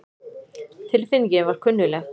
Tilfinningin var kunnugleg.